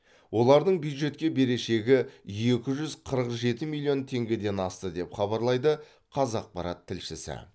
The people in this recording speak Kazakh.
олардың бюджетке берешегі екі жүз қырық жеті миллион теңгеден асты деп хабарлайды қазақпарат тілшісі